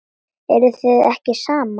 Eruð þið ekki saman?